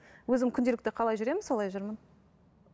өзім күнделікті қалай жүремін солай жүрмін